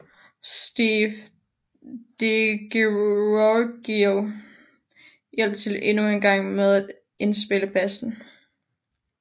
Steve DiGiorgio hjalp til endnu engang med at indspille bassen